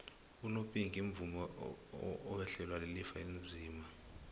umopinki umvumi owehlelwa lilifa elinzima